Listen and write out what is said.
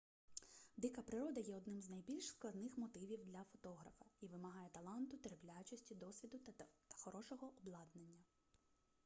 дика природа є одним з найбільш складних мотивів для фотографа і вимагає таланту терплячості досвіду та хорошого обладнання